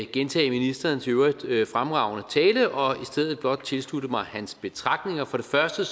gentage ministerens i øvrigt fremragende tale og stedet blot tilslutte mig hans betragtninger for det første